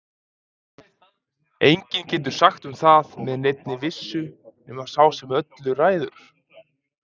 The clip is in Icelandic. Enginn getur sagt um það með neinni vissu nema sá sem öllu ræður.